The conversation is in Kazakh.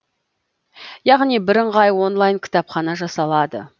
яғни бірыңғай онлайн кітапхана жасалады